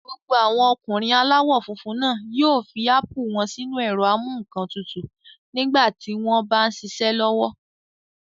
Gbogbo àwọn ọkùnrin aláwọ̀ funfun náà yóò fi ápù wọ́n sínu ẹ̀rọ-amúǹkantutù nígbà tí wọ́n m bá ṣiṣẹ́ lọ́wọ́